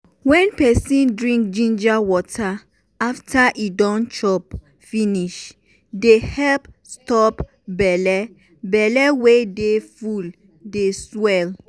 wen peson drink ginger water after e don chop finish dey help stop belle belle wey dey full dey swell.